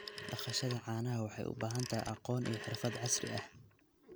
Dhaqashada caanaha waxay u baahan tahay aqoon iyo xirfad casri ah.